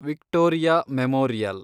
Victoria memorial